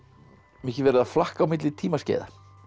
mikið flakkað á milli tímaskeiða